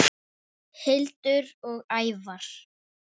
Hildur og Ævar.